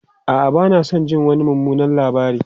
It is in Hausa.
A'a, ba na son jin wani mummunan labari.